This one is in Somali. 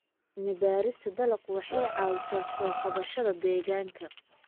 Cilmi-baarista dalaggu waxay caawisaa soo kabashada deegaanka.